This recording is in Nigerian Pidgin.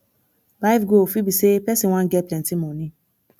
life goal fit be sey person wan get plenty moni